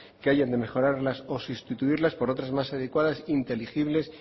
que haya que mejorarlas o sustituirlas por otras más adecuadas inteligibles